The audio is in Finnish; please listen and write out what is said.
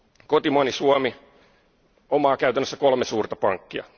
Kotimaani Suomi omaa käytännössä kolme suurta pankkia.